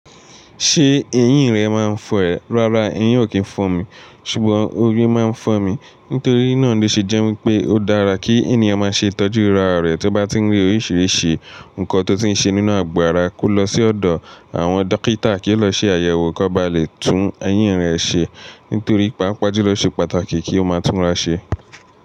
Ṣé eyín rẹ máa ń fọ́ ẹ? Rárá, eyín ò kí ń fọ́ mi, ṣùgbọ́n orí máa ń fọ́ mi. Nítorí náà ló ṣe jẹ́ wípé ó dára kí ènìyàn máa ṣe itọ́jú ará rẹ̀ tí ó bá tí ń rí oríṣìíríṣìí nǹkan tó ti ń ṣe nínú àgo àrá, kó lọ sí ọ̀dọ̀ àwọn dókítà kí ó lọ ṣe àyẹ̀wò kó ba lè tún eyín rẹ̀ ṣe. Nítorí pàápàá ju ló oṣe pàtàkì kí ó máa túnra ṣe.